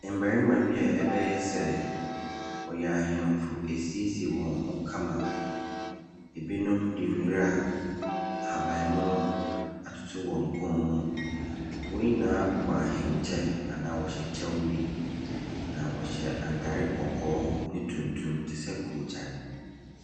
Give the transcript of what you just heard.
Mmarima bi a ɛbɛyɛ sɛ wɔyɛ ahemfo asiesie wɔn ho kama. Binom de nwura ahabammo o atoto wɔn kɔn mu. Wɔn nyinaa bobɔ ahenkyɛ, anaa wɔhyɛ kyɛ bi. Na wɔhyɛ atade kɔkɔɔ ne tuntum te sɛ koogyan.